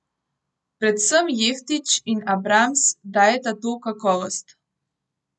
Predvsem Jeftić in Abrams dajeta to kakovost.